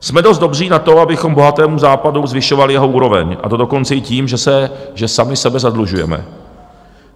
Jsme dost dobří na to, abychom bohatému Západu zvyšovali jeho úroveň, a to dokonce i tím, že sami sebe zadlužujeme.